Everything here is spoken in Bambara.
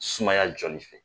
Sumaya jɔli fɛ.